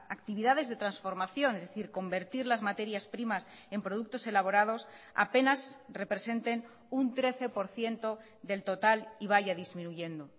actividades de transformación es decir convertir las materias primas en productos elaborados apenas representen un trece por ciento del total y vaya disminuyendo